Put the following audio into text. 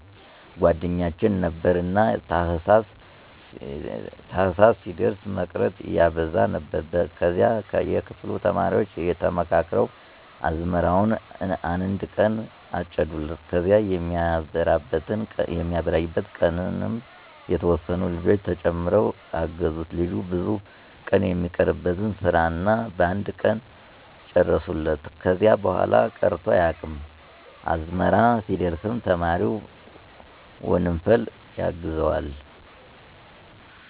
ጓደኛችን ነበረ። እና ታህሳስ ሲደርስ መቅረት ያበዛ ነበር ከዚያ የክፍሉ ተማሪዎች ተመካክረን አዝመራውን አነድ ቀን አጨድንለት ከዚያ የሚበራይበት ቀንም የተወሰኑ ልጆች ተጨምረው አገዙት ልጁ ብዙ ቀን የሚቀርበትን ስራ እኛ በአንድ ቀን ጨረስንለት። ከዚያ በኋላ ቀርቶ አያውቅም። አዝመራ ሲደርስም ተማሪው በወንፈል ያግዘዋል።